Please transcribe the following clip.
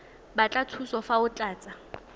batla thuso fa o tlatsa